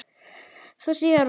Þó síðar væri.